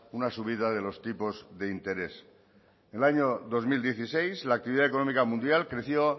una subida de los tipos de interés el año dos mil dieciséis la actividad económica mundial creció